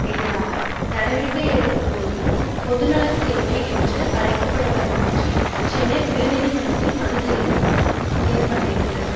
எதிராக நடவடிக்கை எடுக்க கோரியும் பொதுநல சேவை என்று அழைக்கப்படுவதினின்று சென்னை உயர் நீதி மன்றத்தில் மனு செய்ய பட்டிருக்கிறது